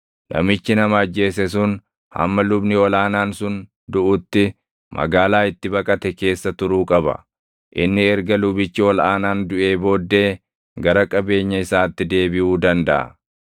Namichi nama ajjeese sun hamma lubni ol aanaan sun duʼutti magaalaa itti baqate keessa turuu qaba; inni erga lubichi ol aanaan duʼee booddee gara qabeenya isaatti deebiʼuu dandaʼa.